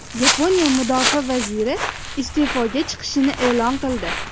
Yaponiya mudofaa vaziri iste’foga chiqishini e’lon qildi.